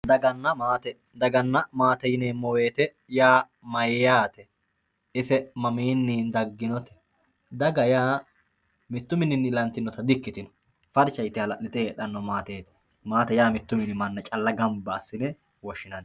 daganna maate daganna maate yaa mayyate? ise mamiinni dagginote? daga yaa mittu mininni ilantinota di'ikkitino farsha yite hala'lite heedhanno maateeti maate yaa mittu mini manna calla gamba assine woshshinanni.